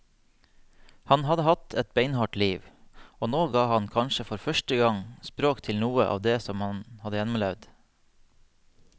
Han hadde hatt et beinhardt liv, og nå ga han kanskje for første gang språk til noe av det han hadde gjennomlevd.